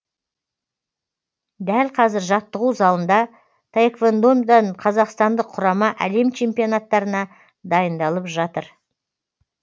дәл қазір жаттығу залында таэквондодан қазақстандық құрама әлем чемпионаттарына дайындалып жатыр